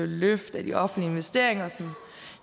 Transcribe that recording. løft af de offentlige investeringer som jo